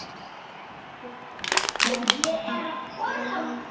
Ég er ein af þeim.